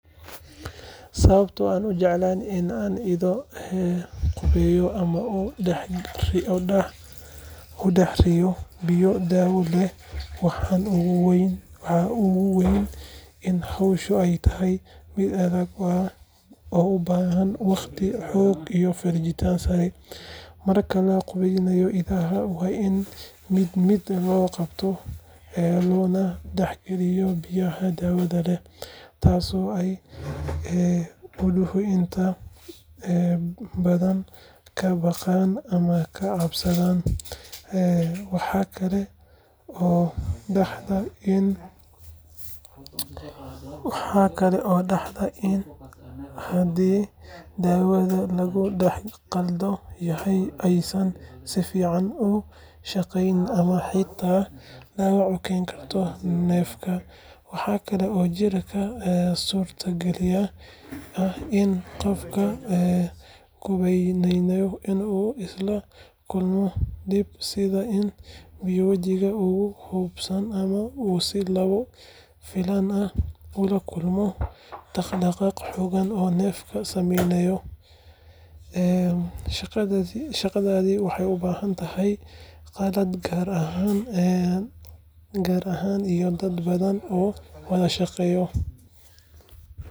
Sababaha aanan u jeclayn in aan ido qubayo ama ku dhex ridayo biyo daawo leh waxaa ugu weyn in hawshu ay tahay mid adag oo u baahan waqti, xoog iyo feejignaan sare. Marka la qubaynayo idaha, waa in mid mid loo qabtaa loona dhex galiyaa biyaha daawada leh, taasoo ay iduhu inta badan ka baqaan ama ka cararaan. Waxa kale oo dhacda in haddii daawada lagu dhex qaldan yahay aysan si fiican u shaqayn ama xitaa dhaawac u keento neefka. Waxaa kale oo jirta suurtagalnimada ah in qofka qubaynaya uu isna la kulmo dhib, sida in biyo wajiga uga buuxsamaan ama uu si lama filaan ah ula kulmo dhaqdhaqaaq xoogan oo neefka sameeyo. Shaqadani waxay u baahan tahay qalab gaar ah iyo dad badan oo wada shaqeeya.